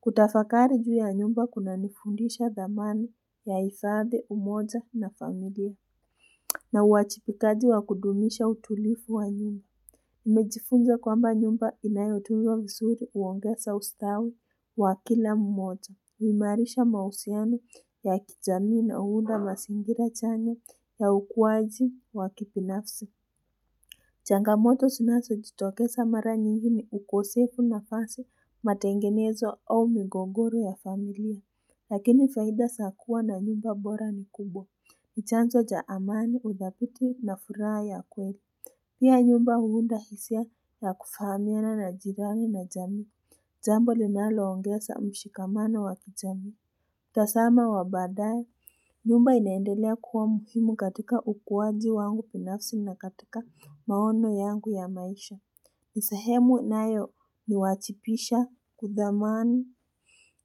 Kutafakari juu ya nyumba kunanifundisha dhamani ya hifadhi, umoja na familia na uwajibikaji wa kudumisha utulivu wa nyumba. Nimejifunza kwamba nyumba inayotunzwa vizuri huongeza ustawi wa kila mmoja. Huimarisha mahusiano ya kijamii na huunda mazingira chanya ya ukuwaji wa kibinafsi. Changamoto zinazo jitokeza mara nyingi ni ukosefu wa nafasi matengenezo au migogoro ya familia. Lakini faida za kuwa na nyumba bora ni kubwa. Ni chanzo cha amani, udhabiti na furaha ya kweli. Pia nyumba huunda hisia ya kufahamiana na jirami na jamii. Jambo linaloongeza mshikamano wa kijamii. Mtazamo wa baadae, nyumba inaendelea kuwa muhimu katika ukuwaji wangu binafsi na katika maono yangu ya maisha. Ni sehemu inayoniwajibisha kudhamani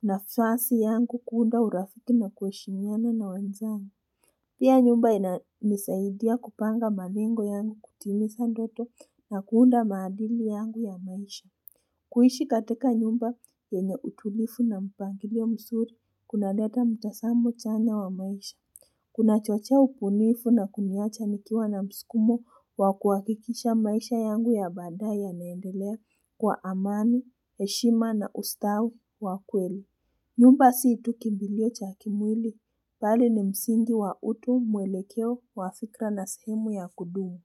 nafasi yangu kuunda urafiki na kuheshimiana na wenzangu. Pia nyumba inanisaidia kupanga malengo yangu kutimiza ndoto na kuunda maadili yangu ya maisha. Kuishi katika nyumba yenye utulivu na mpangilio mzuri kunaleta mtazamo chanya wa maisha. Kunachochea ubunifu na kuniwacha nikiwa na msukumo wa kuhakikisha maisha yangu ya baadae yanaendelea kwa amani, heshima na ustawi wa kweli. Nyumba sio tu kimbilio cha kimwili, bali ni msingi wa utu, mwelekeo wa fikira na sehemu ya kudumu.